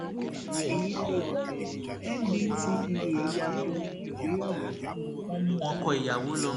èyí lè ò ndtea ya bo ibi ìgbéyàwó wọn mú ọkọ ìyàwó lọ